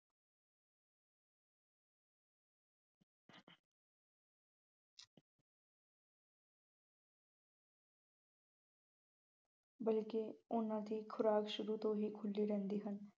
ਬਲਕਿ ਉਹਨਾ ਦੀ ਖੁਰਾਕ ਸ਼ੁਰੂ ਤੋਂ ਖੁੱਲ੍ਹੀ ਰਹਿੰਦੀ ਹੈ।